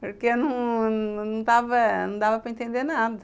porque não não não dava dava para entender nada.